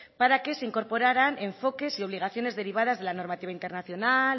para que se incorporaran enfoques y obligaciones derivadas de la normativa internacional